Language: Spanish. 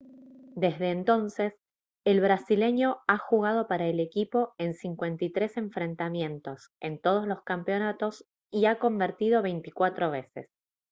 desde entonces el brasileño ha jugado para el equipo en 53 enfrentamientos en todos los campeonatos y ha convertido 24 veces